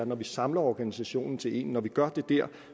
når vi samler organisationen til én og gør det der